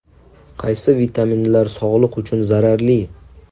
Qaysi vitaminlar sog‘liq uchun zararli?.